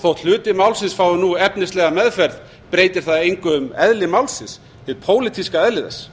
þótt hluti málsins fái nú efnislega meðferð breytir það engu um eðli málsins hið pólitíska eðli þess